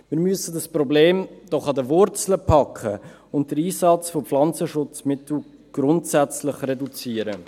Wir müssen dieses Problem doch an den Wurzeln packen und den Einsatz von Pflanzenschutzmitteln grundsätzlich reduzieren.